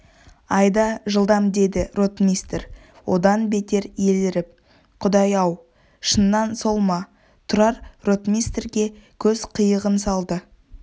айда жылдам деді ротмистр одан бетер еліріп құдай-ау шыннан сол ма тұрар ротмистрге көз қиығын салды